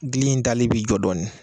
Gili in tali bi jɔ dɔɔnin.